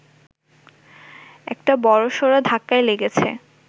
একটা বড়সড় ধাক্কাই লেগেছে